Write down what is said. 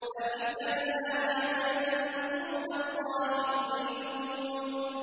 أَئِفْكًا آلِهَةً دُونَ اللَّهِ تُرِيدُونَ